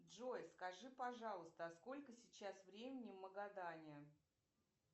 джой скажи пожалуйста а сколько сейчас времени в магадане